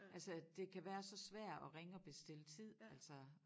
Altså det kan være så svært at ringe og bestille tid altså